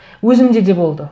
өзімде де болды